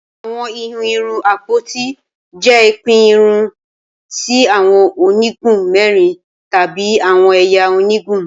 Awọn ihun irun apoti jẹ pipin irun si awọn onigun mẹrin tabi awọn ẹya onigun